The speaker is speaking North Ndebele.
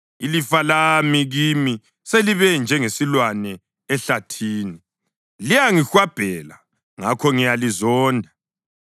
Ilifa lami kimi selibe njengesilwane ehlathini. Liyangihwabhela; ngakho ngiyalizonda.